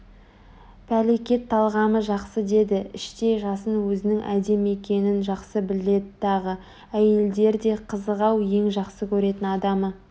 пәлекет талғамы жақсы деді іштей жасын өзінің әдемі екенін жақсы біледі тағы Әйелдер де қызық-ау ең жақсы көретін адамы